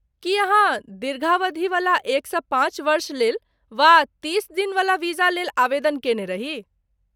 की अहाँ दीर्घावधिवला एकसँ पाँच वर्ष लेल वा तीस दिनवला वीजा लेल आवेदन कयने रही?